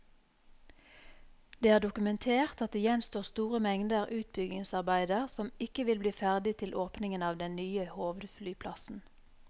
Det er dokumentert at det gjenstår store mengder utbyggingsarbeider som ikke vil bli ferdig til åpningen av den nye hovedflyplassen.